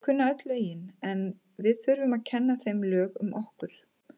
Þau kunna öll lögin en við þurfum að kenna þeim lög um okkur.